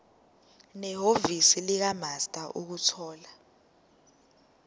nehhovisi likamaster ukuthola